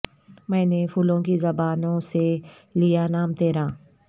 میں نے پھولوں کی زبانوں سے لیا نام ترا